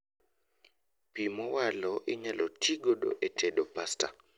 Pii mowalo inyalo tii godo e tedo pasta